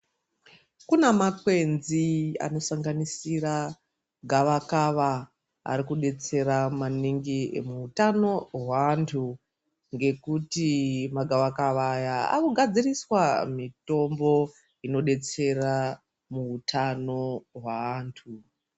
Kuna makwenzi anosanganisira gavakava ari kubetsera maningi muhutano hwantu. Ngekuti magavakava aya akugadziriswa mitombo inobetsera muhutano hwaantu.